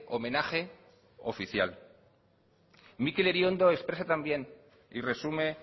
homenaje oficial mikel iriondo expresa también y resume